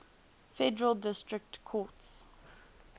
federal district courts